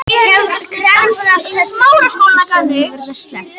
Krefjast þess að skipstjóranum verði sleppt